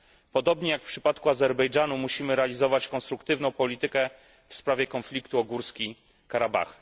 Podobnie jak w przypadku Azerbejdżanu musimy realizować konstruktywną politykę w sprawie konfliktu o Górski Karabach.